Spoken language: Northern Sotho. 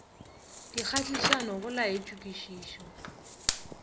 di kgahlišago go laetšwe kwešišo